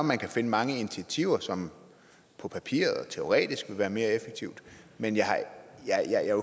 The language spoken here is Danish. man kan finde mange initiativer som på papiret og teoretisk vil være mere effektive men jeg